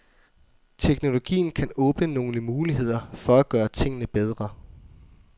Teknologien kan åbne nogle muligheder for at gøre tingene bedre.